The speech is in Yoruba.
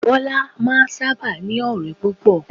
Bọ́lá máa n sáábà ní ọ̀rẹ́ púpọ̀